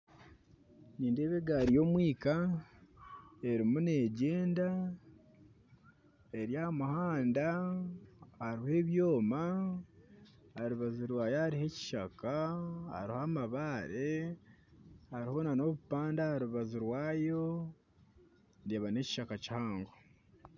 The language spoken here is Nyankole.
Nindeeba egaari yomwika erimu negyenda eryahamuhanda hariho ebyoma aharubaju rwayo hariho ekishaka hariho amabaare hariho nana obupande aharubaju rwayo ndeeba nekishaka kihango